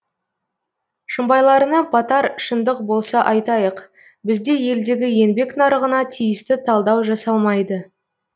шымбайларына батар шындық болса айтайық бізде елдегі еңбек нарығына тиісті талдау жасалмайды